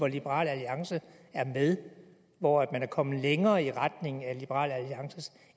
liberal alliance er med i hvor man er kommet længere i retning af liberal alliances